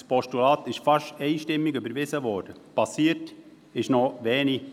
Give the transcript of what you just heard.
Das Postulat wurde fast einstimmig überwiesen, passiert ist aber noch nichts.